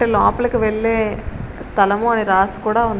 అంటే లోపలికి వెళ్ళే స్థలం అని కూడా రాసి ఉంది.